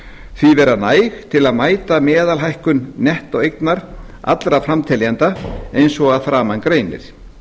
því vera næg til að mæta meðalhækkun nettóeignar allra framteljenda eins og að framan greinir